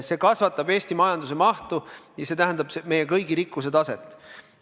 See kasvatab Eesti majanduse mahtu, see tähendab, tõstab meie kõigi rikkuse taset.